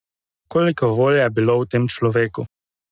Koliko volje je bilo v tem človeku!